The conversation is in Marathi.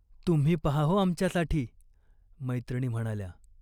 "तुम्ही पहा हो आमच्यासाठी," मैत्रिणी म्हणाल्या.